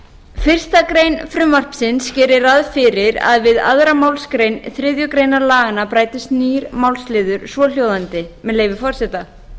fyrsta grein frumvarpsins gerir ráð fyrir að við aðra málsgrein þriðju grein laganna bætist nýr málsliður svohljóðandi með leyfi forseta